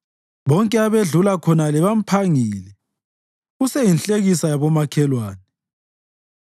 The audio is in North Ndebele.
Bonke abedlula khona bamphangile; useyinhlekisa yabomakhelwane.